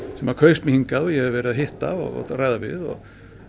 að kaus mig hingað og ég hef verið að hitta og ræða við og